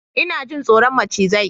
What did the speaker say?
Ina jin tsoron macizai